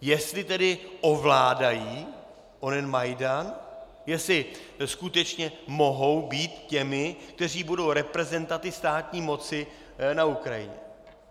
Jestli tedy ovládají onen Majdan, jestli skutečně mohou být těmi, kteří budou reprezentanty státní moci na Ukrajině.